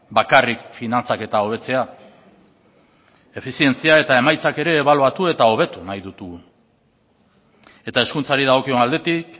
bakarrik finantzaketa hobetzea efizientzia eta emaitzak ere ebaluatu eta hobetu nahi ditugu eta hezkuntzari dagokion aldetik